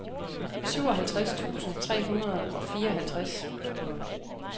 syvoghalvtreds tusind tre hundrede og fireoghalvtreds